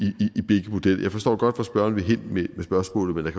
ved jeg forstår godt hvor spørgeren vil hen med spørgsmålet